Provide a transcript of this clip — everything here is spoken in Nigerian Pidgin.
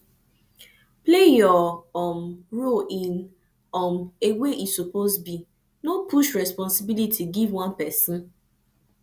play your um role in um a way e suppose be no push resposibility give one pesin